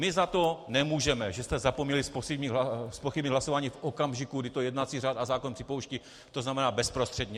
My za to nemůžeme, že jste zapomněli zpochybnit hlasování v okamžiku, kdy to jednací řád a zákon připouští, to znamená bezprostředně.